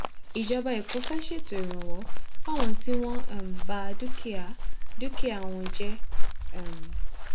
ìjọba ẹkọ fẹẹ ṣètò ìrànwọ fáwọn tí wọn um bá dúkìá dúkìá wọn jẹ um